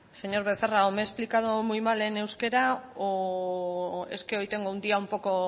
señor becerra o me he explicado muy mal en euskera o es que hoy tengo un día un poco